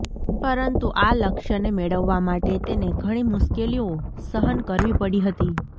પરંતુ આ લક્ષ્યને મેળવવા માટે તેને ઘણી મુશ્કેલીઓ સહન કરવી પડી હતી